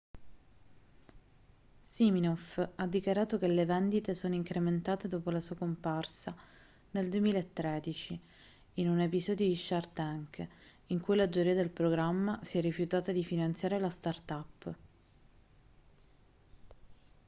siminoff ha dichiarato che le vendite sono incrementate dopo la sua comparsa nel 2013 in un episodio di shark tank in cui la giuria del programma si è rifiutata di finanziare la startup